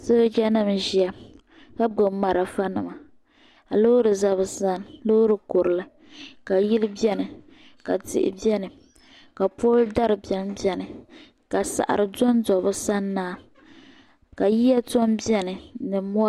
Sooja nima n ʒiya ka gbubi marafa nima ka loori za bi sani loori kurili ka yili bɛni ka tihi bɛni ka pooli dari bɛni bɛni ka saɣiri don do bi sani maa ka yiya tɔm bɛni ni mɔri.